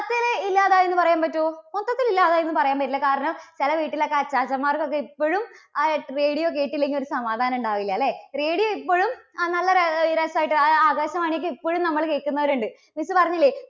ത്തിൽ ഇല്ലാതായി എന്നു പറയാൻ പറ്റുമോ? മൊത്തത്തിൽ ഇല്ലാതായി എന്ന് പറയാൻ പറ്റില്ല. കാരണം, ചെല വീട്ടിലൊക്കെ അച്ചാച്ചൻമാർക്ക് ഒക്കെ ഇപ്പോഴും ആ radio കേട്ടില്ലെങ്കിൽ ഒരു സമാധാനം ഉണ്ടാവില്ല അല്ലേ. radio ഇപ്പോഴും ആ നല്ല ര~രസം ആയിട്ട് ആ ആകാശവാണി ഒക്കെ ഇപ്പോഴും നമ്മള് കേൾക്കുന്നവർ ഉണ്ട്. miss പറഞ്ഞില്ലേ